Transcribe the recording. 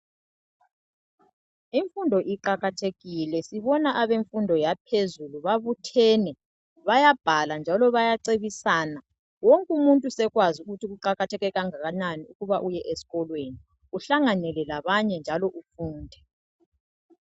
Imfundo iqakathekile, sibona abemfundo yaphezulu babuthene bayabhala njalo bayacebisana .Wonkumuntu sekwazi ukuthi kuqakatheke kangakanani ukuthi uye esikolweni ,uhlanganele labanye njalo ufunde.